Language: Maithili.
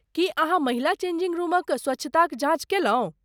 की अहाँ महिला चेंजिंग रूमक स्वच्छताक जाँच कयलहुँ?